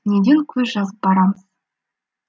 неден көз жазып барамыз